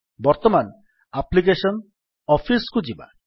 ବର୍ତ୍ତମାନ ଆପ୍ଲିକେଶନ୍ gtଅଫିସ୍ କୁ ଯିବା